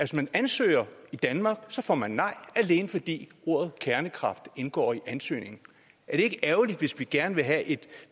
man ansøger i danmark får man nej alene fordi ordet kernekraft indgår i en ansøgning er det ikke ærgerligt hvis vi gerne vil have et